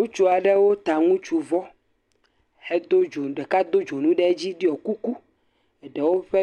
Ŋutsu aɖewo ta ŋutsuvɔ hedo dzo..ɖeka do dzonu heɖɔ kuku eɖewo ƒe